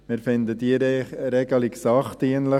Wir finden diese Regelung sachdienlich.